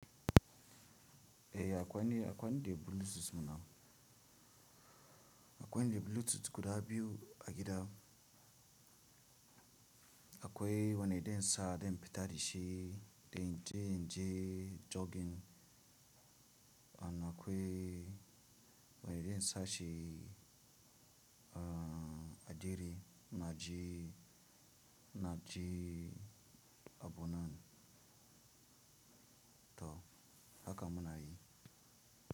Eh akwai ne, akwai ne Bluetooth muna, akwai ne Bluetooth guda biyu a gida. Akwai wane dan sa don infitai dashi, dan je in je jogging. Ana akwai wane dan sa shi, a a ajiye na je, na je abun nan. To haka muna yi.